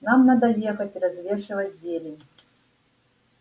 нам надо ехать развешивать зелень